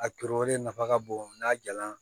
A turulen nafa ka bon n'a jala